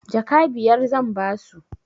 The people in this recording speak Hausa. Jaka biyar zan ba su.